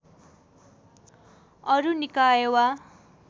अरू निकाय वा